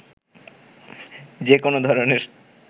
যেকোনো ধরনের